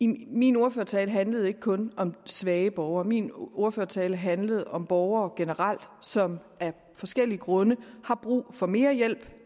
min ordførertale handlede ikke kun om svage borgere min ordførertale handlede om borgere generelt som af forskellige grunde har brug for mere hjælp